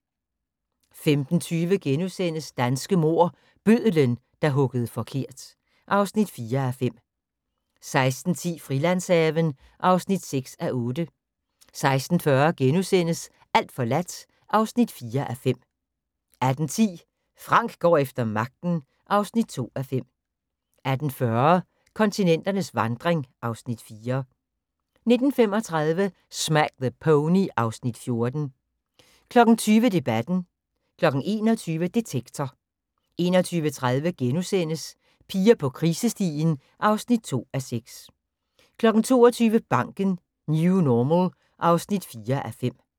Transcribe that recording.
15:20: Danske mord: Bødlen der huggede forkert (4:5)* 16:10: Frilandshaven (6:8) 16:40: Alt forladt (4:5)* 18:10: Frank går efter magten (2:5) 18:40: Kontinenternes vandring (Afs. 4) 19:35: Smack the Pony (Afs. 14) 20:00: Debatten 21:00: Detektor 21:30: Piger på krisestien (2:6)* 22:00: Banken - New Normal (4:5)